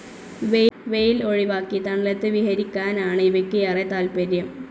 വെയിൽ ഒഴിവാക്കി തണലത്ത് വിഹരിയ്ക്കാനാണ് ഇവയ്ക്ക് ഏറെ താത്പര്യം.